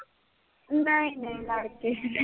ਨਾਈ ਨਾਈ, ਲੜ ਕੇ,